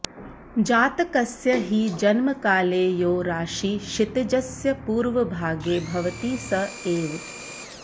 जातकस्य हि जन्मकाले यो राशिः क्षितिजस्य पूर्वभागे भवति स एव